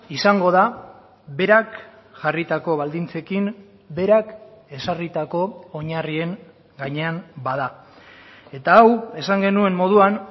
izango da berak jarritako baldintzekin berak ezarritako oinarrien gainean bada eta hau esan genuen moduan